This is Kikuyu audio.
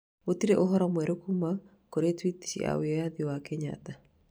Gũtirĩ ũhoro mwerũ kuuma kũrĩ tweet ya wĩyathi wa Kenyatta